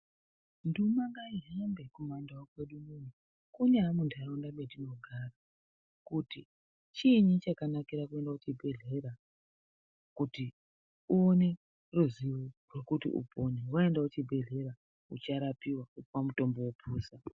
Nduma ngaihambe kuma ndau kwedu unono, kunyaamunharaunda matinogara kuti chiinyi chakanakira kuende kuchibhedhlera. Kuti uone ruzivo rwekuti upone vaenda kuzvibhedhleya ucharapiwa vopiwa mutombo vepusa.